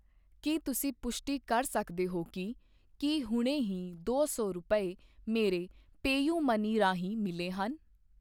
ਕੀ ਤੁਸੀਂ ਪੁਸ਼ਟੀ ਕਰ ਸਕਦੇ ਹੋ ਕਿ ਕੀ ਹੁਣੇ ਹੀ ਦੋ ਸੌ ਰੁਪਏ ਮੇਰੇ ਪੇਯੂਮਨੀ ਰਾਹੀਂ ਮਿਲੇ ਹਨ?